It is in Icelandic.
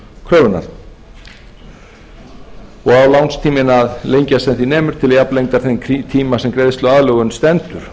kröfunnar og á lánstíminn að lengjast sem því nemur til jafnlengdar þeim tíma sem greiðsluaðlögun stendur